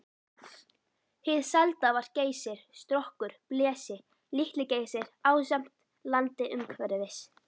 Hið selda var Geysir, Strokkur, Blesi, Litli-Geysir ásamt landi umhverfis.